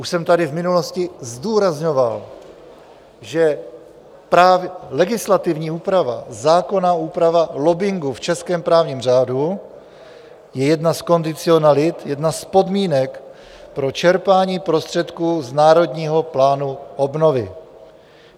Už jsem tady v minulosti zdůrazňoval, že legislativní úprava, zákonná úprava lobbingu v českém právním řádu je jedna z kondicionalit, jedna z podmínek pro čerpání prostředků z Národního plánu obnovy.